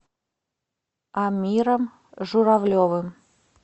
амиром журавлевым